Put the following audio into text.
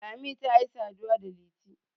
lami ta yi saduwa da liti